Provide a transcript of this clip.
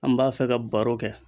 An b'a fɛ ka baro kɛ